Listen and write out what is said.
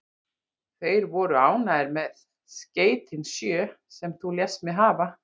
Þeir voru ánægðir með skeytin sjö, sem þú lést mig hafa.